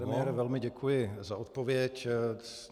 Pane premiére, velmi děkuji za odpověď.